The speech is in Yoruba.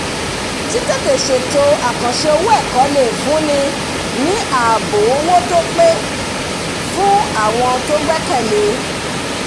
títètè ṣèto àkànṣe owó ẹ̀kọ lè fúnni ní ààbò owó tó pé fún àwọn tó gbẹ́kẹ̀lé e